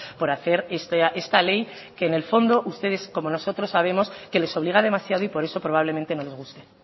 por hacer esta ley que en el fondo ustedes como nosotros sabemos que les obliga demasiado y por eso probablemente no les guste